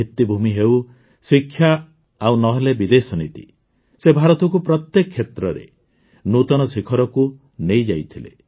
ଭିତ୍ତିଭୂମି ହେଉ ଶିକ୍ଷା ଆଉ ନ ହେଲେ ବିଦେଶ ନୀତି ସେ ଭାରତକୁ ପ୍ରତ୍ୟେକ କ୍ଷେତ୍ରରେ ନୂତନ ଶିଖରକୁ ନେଇଯାଇଥିଲେ